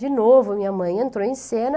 De novo, minha mãe entrou em cena.